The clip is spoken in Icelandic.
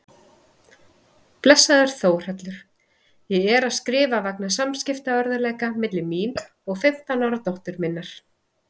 Blessaður Þórhallur, ég er að skrifa vegna samskiptaörðugleika milli mín og fimmtán ára dóttur minnar.